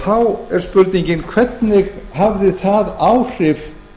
þá er spurningin hvernig hafði það áhrif